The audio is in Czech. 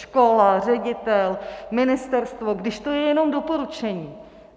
Škola, ředitel, ministerstvo, když to je jenom doporučení?